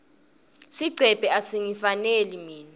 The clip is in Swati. sigcebhe asingifaneli mine